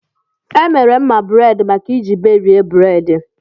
E mere mma buredi maka iji iberi buredi